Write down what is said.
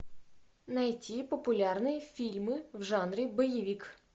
найти популярные фильмы в жанре боевик